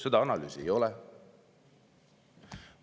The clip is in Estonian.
Seda analüüsi ei ole.